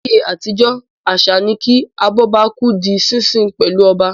Láyé àtijọ́ àṣà ni kí "Abọ́bakú" di sísin pẹ̀lú ọba.